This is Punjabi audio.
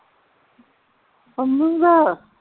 ਪੰਮੂ ਦਾ